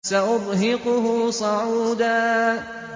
سَأُرْهِقُهُ صَعُودًا